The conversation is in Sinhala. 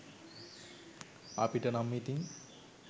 අපිට නම් ඉතින්